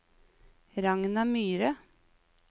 Ragna Myhre